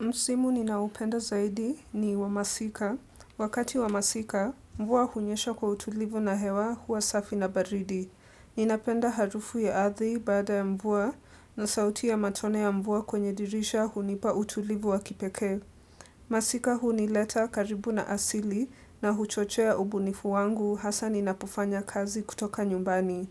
Msimu ninaoupenda zaidi ni wa masika. Wakati wa masika, mvua hunyesha kwa utulivu na hewa huwa safi na baridi. Ninapenda harufu ya ardhi baada ya mvua na sauti ya matone ya mvua kwenye dirisha hunipa utulivu wa kipekee. Masika hunileta karibu na asili na huchochea ubunifu wangu hasa ninapofanya kazi kutoka nyumbani.